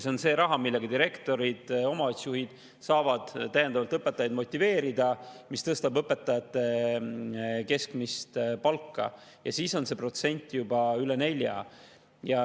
See on raha, millega direktorid ja omavalitsusjuhid saavad õpetajaid täiendavalt motiveerida, mis tõstab õpetajate keskmist palka, ja siis on see protsent juba üle 4.